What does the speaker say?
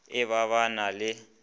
e ba ba na le